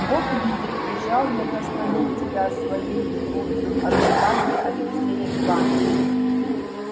бог видит бежал я заслонить тебя своею грудью от шпаги алексея иваныча